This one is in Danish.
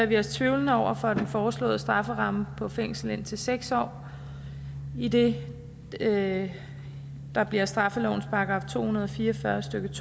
vi os tvivlende over for den foreslåede strafferamme på fængsel indtil seks år i det det der bliver straffelovens § to hundrede og fire og fyrre stykke